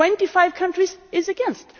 times. Twenty five countries are